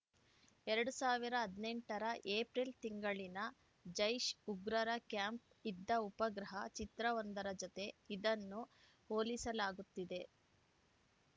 ಎರಡ್ ಸಾವಿರದ ಹದಿನೆಂಟ ರ ಏಪ್ರಿಲ್‌ ತಿಂಗಳಲ್ಲಿನ ಜೈಷ್‌ ಉಗ್ರರ ಕ್ಯಾಂಪ್‌ ಇದ್ದ ಉಪಗ್ರಹ ಚಿತ್ರವೊಂದರ ಜತೆ ಇದನ್ನು ಹೋಲಿಸಲಾಗುತ್ತಿದೆ